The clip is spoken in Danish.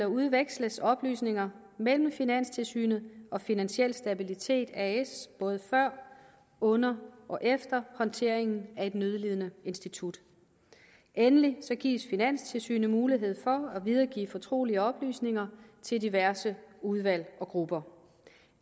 udveksles oplysninger mellem finanstilsynet og finansiel stabilitet as både før under og efter håndteringen af et nødlidende institut endelig gives finanstilsynet mulighed for at videregive fortrolige oplysninger til diverse udvalg og grupper